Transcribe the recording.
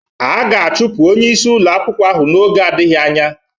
A ga-achụpụ onye isi ụlọ akwụkwọ ahụ n'oge adịghị anya.